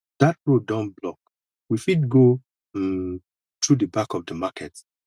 dat road don block we fit go um through the back of the market